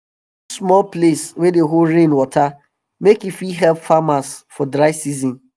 we dey build small place wey dey hold rain water make e fit help farmers for dry season